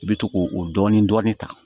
I bɛ to k'o o dɔɔnin dɔɔnin ta